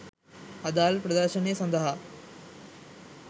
අදාළ ප්‍රදර්ශනය සඳහා